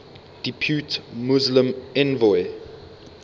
depute muslim envoy